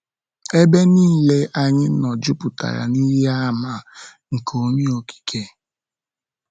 Ebe niile anyị nọ jupụtara na ihe àmà nke Onye Okike.